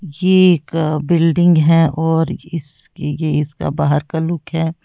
ये एक बिल्डिंग है और इसके ये इसका बाहर का लुक है।